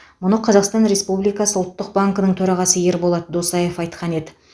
мұны қазақстан республикасы ұлттық банкінің төрағасы ерболат досаев айқан еді